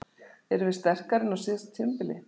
Erum við sterkari en á síðasta tímabili?